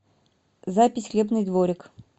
запись хлебный дворик